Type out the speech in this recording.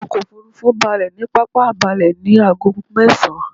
Ọkò òfurufú balẹ̀ ní pápá ìbalẹ ní ago mẹ́esan